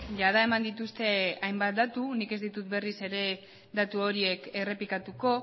jada eman dituzte hainbat datu nik ez ditut berriz ere datu horiek errepikatuko